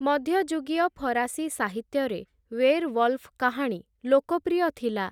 ମଧ୍ୟଯୁଗୀୟ ଫରାସୀ ସାହିତ୍ୟରେ ୱେରୱଲ୍ଫ କାହାଣୀ ଲୋକପ୍ରିୟ ଥିଲା ।